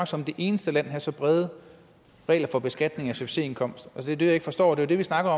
som det eneste land have så brede regler for beskatning af succesindkomst det er det jeg ikke forstår det vi snakker